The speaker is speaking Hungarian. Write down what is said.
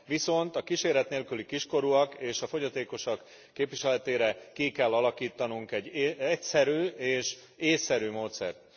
Viszont a kíséret nélküli kiskorúak és a fogyatékosok képviseletére ki kell alakítanunk egy egyszerű és ésszerű módszert.